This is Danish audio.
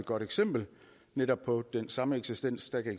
godt eksempel netop på den sameksistens der kan